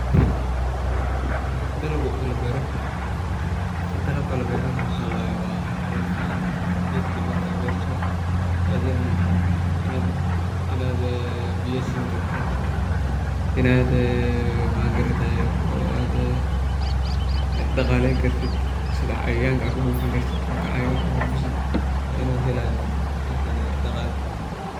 Dalago oo labero waa howl fican. Dalaga ama gedka markaad berto waa inaad biya sini kartid, waa inaad daqaleyni kartid ,sidha cayayanka aad ka bufini kartid, markaad cayayanka aa kabufisid waa inu helayo daqalo fican.